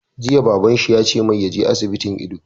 Jiya Baban shi ya ce mai ya je asibitin ido!